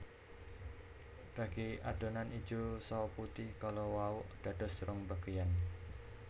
Bagi adonan ijo saha putih kala wau dados rong bageyan